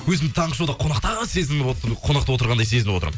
өзімді таңғы шоуда қонақта қонақта отырғандай сезініп отырмын